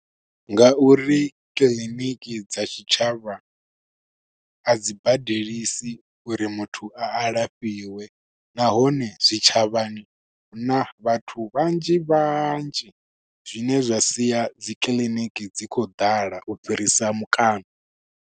Nga uri kiḽiniki dza tshitshavha a dzi badelisi uri muthu a alafhiwe. Nahone zwitshavhani hu na vhathu vhanzhi vhanzhi, zwine zwa sia dzi kiḽiniki dzi khou ḓala u fhirisa mukano.